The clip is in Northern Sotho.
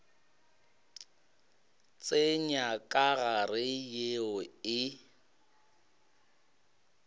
tsenya ka gare yeo e